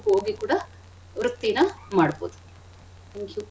ಹೋಗಿ ಕೂಡ ವೃತ್ತಿನ ಮಾಡ್ಬೋದು thank you .